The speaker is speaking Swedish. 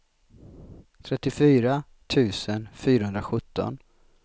trettiofyra tusen fyrahundrasjutton